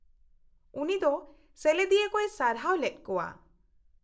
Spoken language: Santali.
-ᱩᱱᱤ ᱫᱚ ᱥᱮᱞᱮᱫᱤᱭᱟᱹ ᱠᱚᱭ ᱥᱟᱨᱦᱟᱣ ᱞᱮᱫ ᱠᱚᱣᱟ ᱾